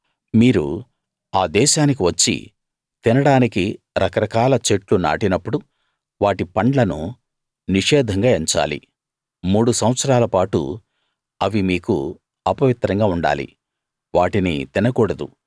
మీరు ఆ దేశానికి వచ్చి తినడానికి రకరకాల చెట్లు నాటినప్పుడు వాటి పండ్లను నిషేధంగా ఎంచాలి మూడు సంవత్సరాల పాటు అవి మీకు అపవిత్రంగా ఉండాలి వాటిని తినకూడదు